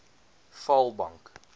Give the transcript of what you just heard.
vaalbank